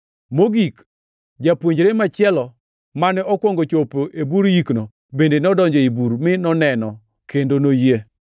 Mogik, japuonjre machielo, mane okwongo chopo e bur yikno, bende nodonjo ei bur mi noneno kendo noyie.